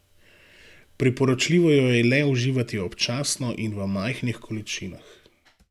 Priporočljivo jo je le uživati občasno in v majhnih količinah.